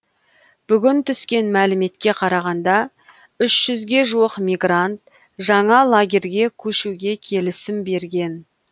бүгін түскен мәліметке қарағанда үш жүзге жуық мигрант жаңа лагерге көшуге келісім берген